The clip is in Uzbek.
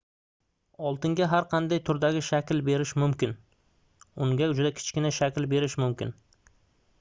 oltinga har qanday turdagi shakl berish mumkin unga juda kichkina shakl berish mumkin